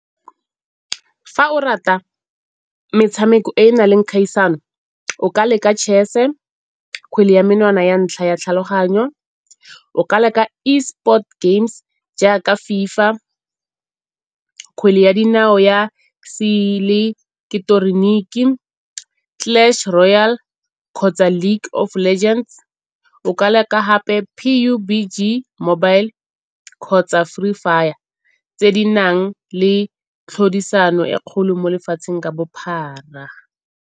Fa o rata metshameko e na leng kgaisano o ka leka chess-e, kgwele ya menwana ya ntlha ya tlhaloganyo, o ka leka Esports games jaaka FIFA, kgwele ya dinao ya seileketeroniki, Clash Royale kgotsa League of Legends. O ka leka gape P_U_B_G mobile kgotsa Free Fire tse di nang le tlhodisano e kgolo mo lefatsheng ka bophara.